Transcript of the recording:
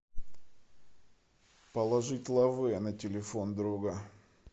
положить лавэ на телефон друга